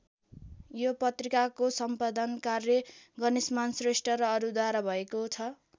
यो पत्रिकाको सम्पादन कार्य गणेशमान श्रेष्ठ र अरूद्वारा भएको छ।